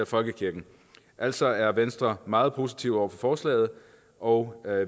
folkekirken altså er venstre meget positiv over for forslaget og